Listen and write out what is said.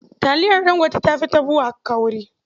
Taliyar Ɗangote ta fi ta BUA kauri.